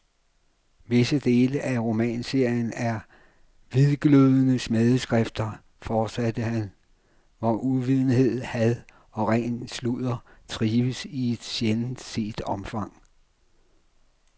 Visse dele af romanserien er hvidglødende smædeskrifter, fortsatte han, hvor uvidenhed, had og ren sludder trives i et sjældent set omfang.